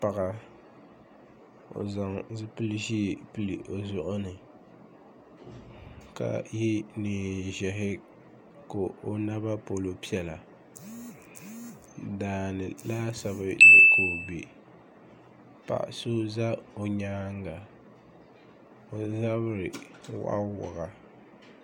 paɣa o zaŋ zipil' ʒee pili o zuɣu ni ka ye neen ʒɛhi ka o naba polo piɛla daa ni laasabu ni ka o be paɣa so za o nyaaŋa o zabiri waɣawaɣa